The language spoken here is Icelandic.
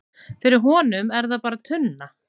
fyrir honum er það bara tunna